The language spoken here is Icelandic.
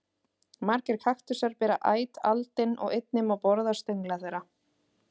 Margir kaktusar bera æt aldin og einnig má borða stöngla þeirra.